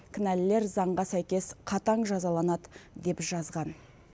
кінәлілер заңға сәйкес қатаң жазаланады деп жазған